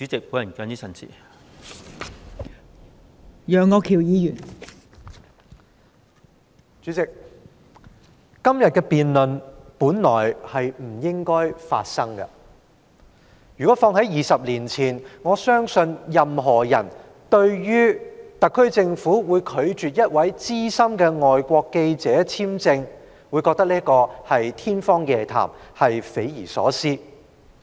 代理主席，今天的辯論本來不應發生，如果事情發生在20年前，對於特區政府拒絕向一位資深外國記者發出簽證，我相信任何人都會認為這是天方夜譚、匪夷所思。